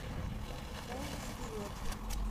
полный вперед